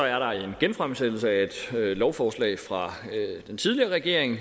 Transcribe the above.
er der en genfremsættelse af et lovforslag fra den tidligere regering